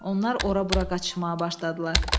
Onlar ora-bura qaçışmağa başladılar.